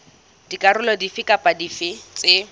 dikarolo dife kapa dife tse